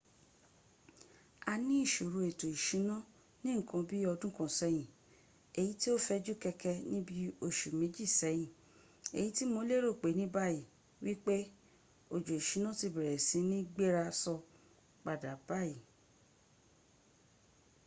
a ni isoro eto isuna ni nkan bi odun kan seyin eyi ti o feju keke ni bi osu meji seyin eyiti mo lero ni bayi wipe ojo isuna ti bere si ni gbera so pada bayi